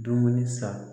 Dumuni san